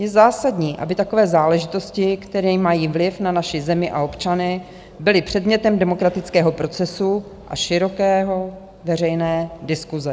Je zásadní, aby takové záležitosti, který mají vliv na naši zemi a občany, byly předmětem demokratického procesu a široké veřejné diskuse.